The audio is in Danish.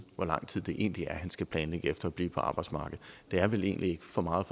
hvor lang tid det egentlig er han skal planlægge efter at blive på arbejdsmarkedet det er vel egentlig ikke for meget